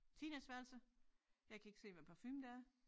Teenageværelse jeg kan ikke se hvad parfume det er